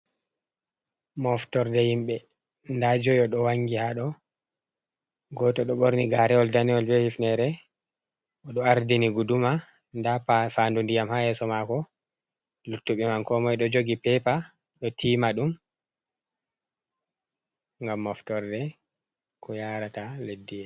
Moftorde himbe nda joyo do wangi hado goto do ɓorni garewol danewol be hifnere bo ardini guduma nda fandu ndiyam ha yeso mako luttuɓe man ko moi do jogi pepa do tiima ɗum ngam moftorde ko yarata leɗɗi yeeso.